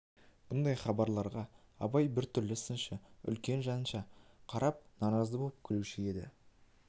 бұндай хабарларға абай біртүрлі сыншы үлкен жанша қарап наразы боп күлуші еді